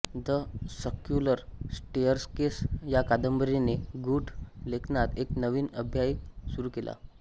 the circular staircase या कादंबरीने गूढ लेखनात एक नविन अध्याय सुरू केला